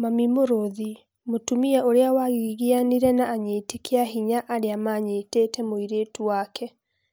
"Mami mũrũthi" mutumia uria wagiginyanire na anyiti kĩĩahinya arĩa manyiĩte mũirĩtu wake